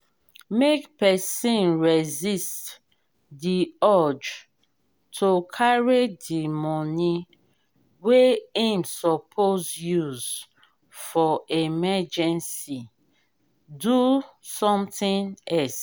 make person resist di urge to carry di money wey im suppose use for emergency do something else